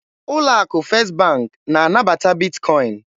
Ụlọ akụ First bank na-anabata Bitkọin